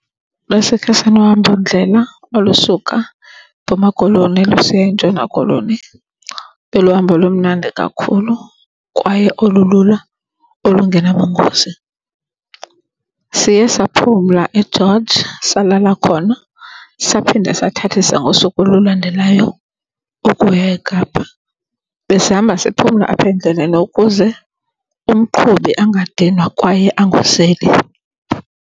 Besikhe sanohambondlela olusuka eMpuma Koloni lusiya eNtshona Koloni. Ibe luhambo olumnandi kakhulu kwaye olululo olungenabungozi. Siye saphumla eGeorge, salala khona, saphinda sathathisa ngosuku olulandelayo ukuya eKapa. Besihamba siphumla apha endleleni ukuze umqhubi angadinwa kwaye angozeli.